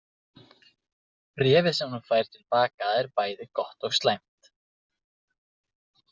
Bréfið sem hún fær til baka er bæði gott og slæmt.